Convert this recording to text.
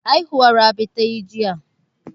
Haihuwa Rabi ta yi jiya.